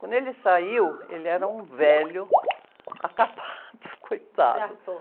Quando ele saiu, ele era um velho acabado, coitado.astou...